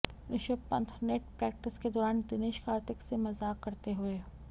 Rishabh Pant net practice के दौरान दिनेश कार्तिक से मज़ाक करते हुए